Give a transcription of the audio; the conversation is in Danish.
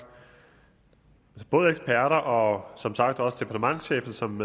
både eksperter og som sagt også departementschefen som